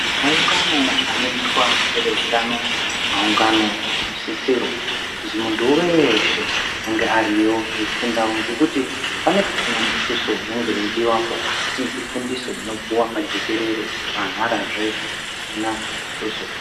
Maungano anoitwa ngeveutano maungano anosisirwa kuzi muntu weshe ange ariyo eifundawo ngekuti pane pasina mutuso unenge weidiwapo asi ifundiso inopuwa pajekerere maharazve pasina mutuso.